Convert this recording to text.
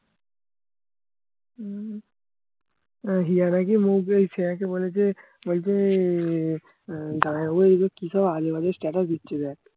উম হিয়ারা কি মৌ পেয়েছে একবারে যে ওরকমই আহ জামাইবাবু এইগুলো কিসব আজেবাজে status দিচ্ছে দেখ